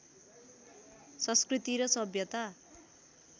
संस्कृति र सभ्यता